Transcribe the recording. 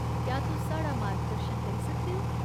क्या तुस साढ़ा मार्गदर्शन करी सकदे ओ ?